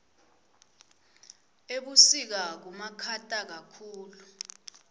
ebusika kubamakhata kakhulu